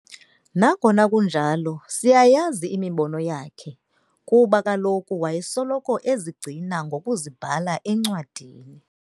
Nangona kunjalo siyayazi imibono yakhe, kuba kaloku wayesoloko ezigcina ngokuzibhala encwadini.